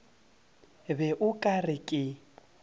be o ka re ke